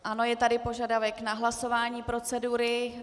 Ano, je tady požadavek na hlasování procedury.